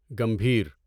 گمبھیر